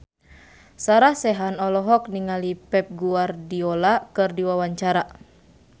Sarah Sechan olohok ningali Pep Guardiola keur diwawancara